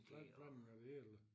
***UF**